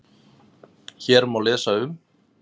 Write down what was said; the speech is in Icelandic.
Hér má lesa um